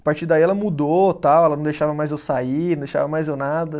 A partir daí ela mudou, tal, ela não deixava mais eu sair, não deixava mais eu nada.